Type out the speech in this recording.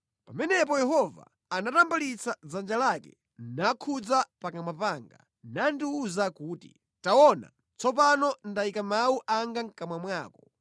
Pamenepo Yehova anatambalitsa dzanja lake nakhudza pakamwa panga, nandiwuza kuti, “Taona, tsopano ndayika mawu anga mʼkamwa mwako.